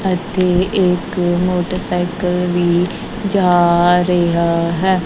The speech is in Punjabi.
ਅਤੇ ਇਕ ਮੋਟਰਸਾਈਕਲ ਵੀ ਜਾ ਰਿਹਾ ਹੈ।